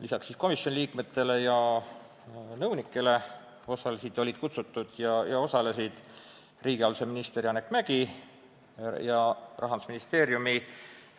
Lisaks komisjoni liikmetele ja nõunikele olid kutsutud ja osalesid riigihalduse minister Janek Mäggi ja Rahandusministeeriumi